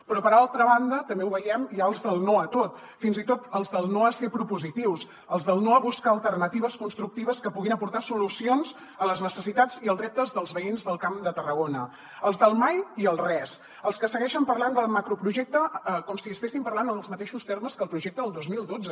però per altra banda també ho veiem hi ha els del no a tot fins i tot els del no a ser propositius els del no a buscar alternatives constructives que puguin aportar solucions a les necessitats i als reptes dels veïns del camp de tarragona els del mai i el res els que segueixen parlant del macroprojecte com si n’estiguéssim parlant en els mateixos termes que el projecte del dos mil dotze